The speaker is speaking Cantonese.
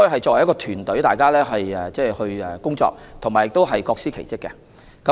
作為一支團隊，大家一同工作並各司其職。